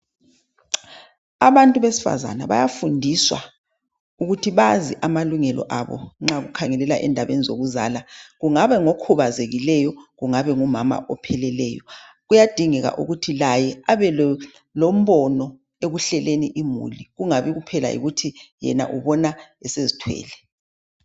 Abantu besifazana bayafundiswa ukuthi bazi amalungelo abo nxa kukhangelela endabeni xokuzala. Kungabe ngokhubazekileyo kungabe ngumama opheleleyo . Kuyadingeka ukuthi laye abelombono ekuhleleni imuli kungabi kuphela yikuthi yena ubona esezithwele.